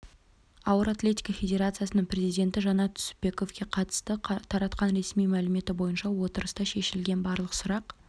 ауыр атлетика федерациясының президенті жанат түсіпбеков қатысты таратқан ресми мәліметі бойынша отырыста шешілген барлық сұрақ